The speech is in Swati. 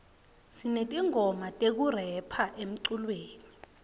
sinetingoma tekurepha emculweni